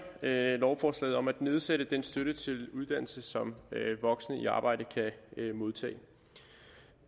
lovforslaget om at nedsætte den støtte til uddannelse som voksne i arbejde kan modtage